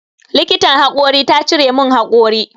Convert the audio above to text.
Likitan haƙori ta cire min haƙori.